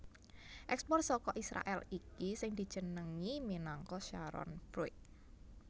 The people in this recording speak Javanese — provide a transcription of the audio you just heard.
Ekspor saka Israèl iki sing dijenengi minangka Sharon fruit